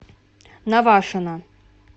навашино